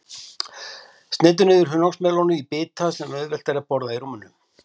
Sneiddu niður hunangsmelónu í bita sem auðvelt er að borða í rúminu.